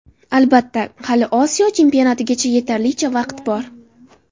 Albatta, hali Osiyo chempionatigacha yetarlicha vaqt bor.